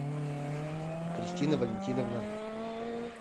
кристина валентиновна